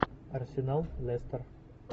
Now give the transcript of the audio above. арсенал лестер